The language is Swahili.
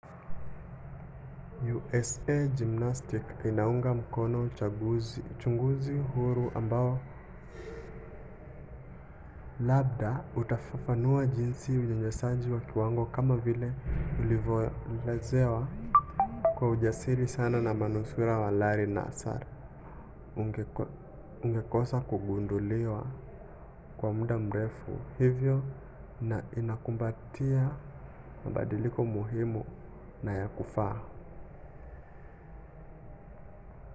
usa gymnastics inaunga mkono uchunguzi huru ambao labda utafafanua jinsi unyanyasaji wa kiwango kama vile ulivyoelezewa kwa ujasiri sana na manusura wa larry nassar ungekosa kugunduliwa kwa muda mrefu hivyo na inakumbatia mabadiliko muhimu na ya kufaa